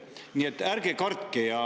Nii et ärge kartke!